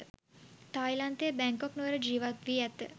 තායිලන්තයේ Bangkok නුවර ජීවත්වී ඇත.